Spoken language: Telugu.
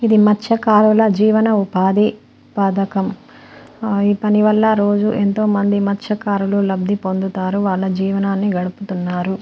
ఇది మత్స్యకారుల జీవన ఉపాధి పథకం ఈ పని వల్ల రోజు ఎంతోమంది మత్స్యకారులు లబ్ధి పొందుతారు వాళ్ళ జీవనాన్ని గడుపుతున్నారు.